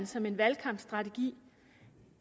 som en valgkampsstrategi